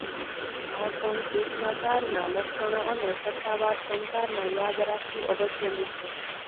ભાષણ શિષ્ટાચારના લક્ષણો અને સત્તાવાર સંચારમાં યાદ રાખવું અગત્યનું છે